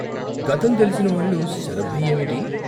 గతం తెలిసిన వాళ్ళు శరభయ్యేమిటి?